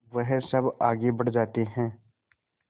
वह सब आगे बढ़ जाते हैं